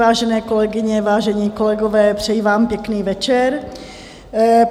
Vážené kolegyně, vážení kolegové, přeji vám pěkný večer.